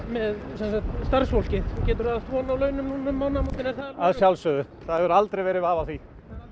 með starfsfólkið getur það átt von á launum núna um mánaðamótin að sjálfsögðu það hefur aldrei verið vafi á því